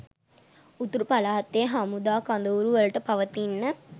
උතුරු පළාතේ හමුදා කඳවුරුවලට පවතින්න